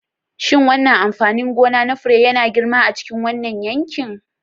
Shin wannan amfanin gona na fure yana girma a cikin wannan yanki?